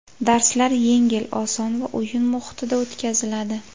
Darslar yengil, oson va o‘yin muhitida o‘tkaziladi”.